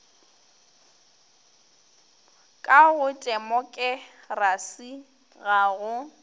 ka go temokerasi ga go